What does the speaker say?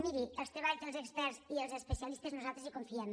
miri en els treballs dels experts i els especialistes nosaltres hi confiem